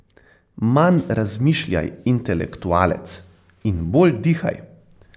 Manj razmišljaj, intelektualec, in bolj dihaj.